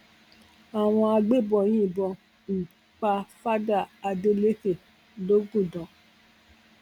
àwọn agbébọn yìnbọn um pa fada adelékẹ logundan